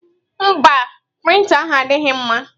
Mba, prịnta ahụ adịghị mma.